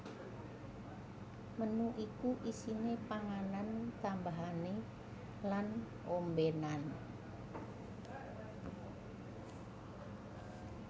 Menu iku isine panganan tanbahane lan ombenan